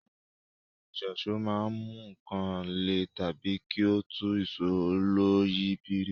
Ohun èlò ìyíṣòó máa ń mú nǹkan lè tàbí kí ó tú ìṣó oloyìibírí